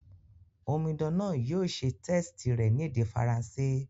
Omidan náà yio se test rẹ̀ ni èdè Faranṣé